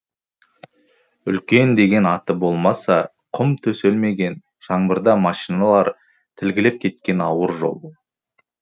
үлкен деген аты болмаса құм төселмеген жаңбырда машиналар тілгілеп кеткен ауыр жол